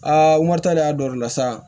Aa n ko wari ta de y'a dɔ la sa